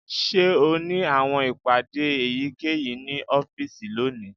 Ṣe o ni awọn ipade eyikeyi ni ọfiisi loni?